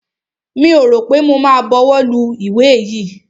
Mi ò rọ̀ pé mo ma buwọ́ lu ìwé yìí.